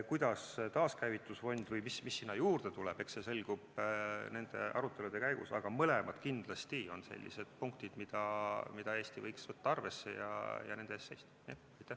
Kuidas taaskäivitusfond või mis sinna juurde tuleb, eks see selgub nende arutelude käigus, aga mõlemad on kindlasti sellised punktid, mida Eesti võiks võtta arvesse ja nende eest seista.